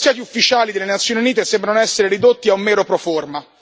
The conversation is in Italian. I negoziati ufficiali delle Nazioni Unite sembrano essere ridotti a un mero proforma.